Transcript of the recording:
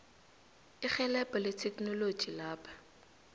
irhelebho letheknoloji lapha